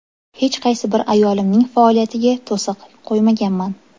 Hech qaysi bir ayolimning faoliyatiga to‘siq qo‘ymaganman.